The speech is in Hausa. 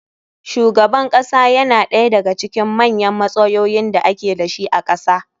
Shugaban kasa yana ɗaya da ga cikin manyan matsayoyin da ake dashi a kasa